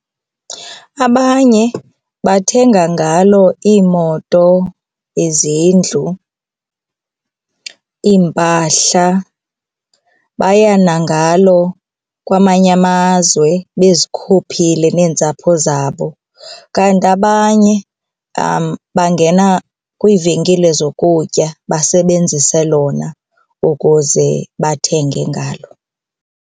Abanye bathenga ngalo iimoto, izindlu, iimpahla baya nangalo kwamanye amazwe bezikhuphile neentsapho zabo, kanti abanye bangena kwiivenkile zokutya basebenzise lona ukuze bathenge ngalo.